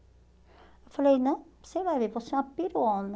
Eu falei, não, você vai ver, você é uma piruona.